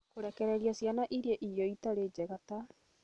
Kũrekereria ciana cirie irio itarĩ njega ta